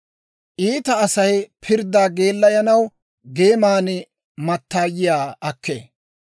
Iita Asay pirddaa geellayanaw geeman mattaayiyaa akkee.